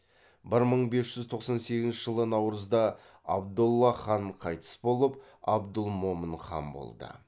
бір мың бес жүз тоқсан сегізінші жылы наурызда абдолла хан қайтыс болып абдылмомын хан болды